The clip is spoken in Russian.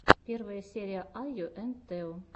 первая серия айо энд тео